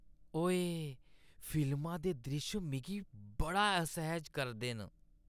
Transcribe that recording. ओऐऽ! फिल्मा दे द्रिश्श मिगी बड़ा असैह्‌ज करदे न।